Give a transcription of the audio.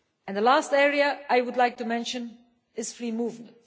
The last area I would like to mention is free movement.